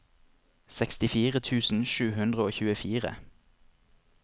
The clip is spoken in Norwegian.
sekstifire tusen sju hundre og tjuefire